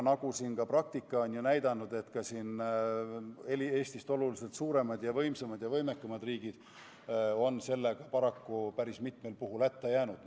Nagu aga praktika näitab, on isegi Eestist oluliselt suuremad, võimsamad ja võimekamad riigid paraku päris mitmel puhul hätta jäänud.